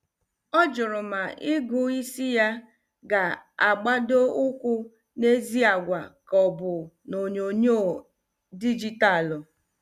Ọ jụrụ ma ịgụ isi ya ga- agbado ụkwụ n' ezi àgwà ka ọbụ n' onyonyo dijitalu.